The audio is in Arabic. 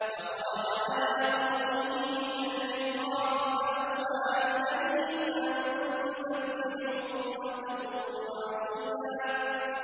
فَخَرَجَ عَلَىٰ قَوْمِهِ مِنَ الْمِحْرَابِ فَأَوْحَىٰ إِلَيْهِمْ أَن سَبِّحُوا بُكْرَةً وَعَشِيًّا